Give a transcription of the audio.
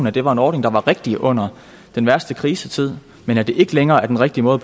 at det var en ordning der var rigtig under den værste krisetid men at det ikke længere er den rigtige måde